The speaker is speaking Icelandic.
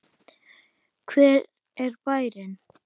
Hver er bærinn?